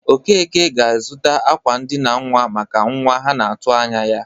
Okeke ga-azụta akwa ndịna nnwa maka nwa ha na-atụ anya ya.